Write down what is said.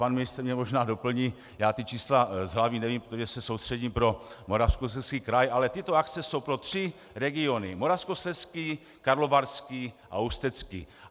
Pan ministr mě možná doplní, já ta čísla z hlavy nevím, protože se soustředím pro Moravskoslezský kraj, ale tyto akce jsou pro tři regiony: Moravskoslezský, Karlovarský a Ústecký.